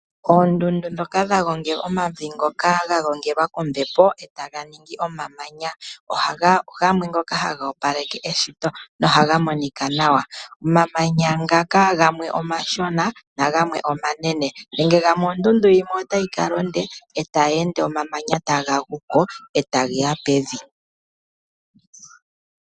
Oondundu ndhoka dha gongela omavi ngoka ga gongelwa kombepo e ta ga ningi omamanya , ogamwe ngoka haga opaleke eshito nohaga monika nawa. Omamanya ngaka gamwe omashona nagamwe omanene, nenge gamwe ondundu yimwe otayi kala onde e tayi ende omamanya taga gu ko e ta ge ya pevi.